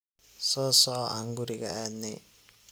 Sosoco aan kuriga aadne.